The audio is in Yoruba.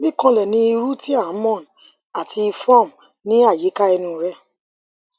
mi kanlẹ ní irú ti a moan ati form ni ayika ẹnu rẹ